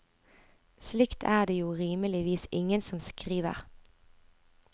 Slikt er det jo rimeligvis ingen som skriver.